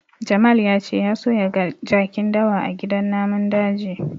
Jamal ya ce ya so ya ga jakin dawa a gidan namun daji.